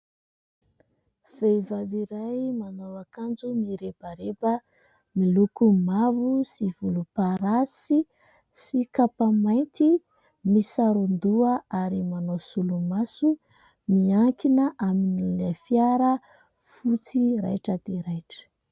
Vehivavy iray manao akanjo mirebareba miloko mavo sy volomparasy sy kapa mainty misaron-doha ary manao solomaso miankina amina fiara fotsy raitra dia raitra.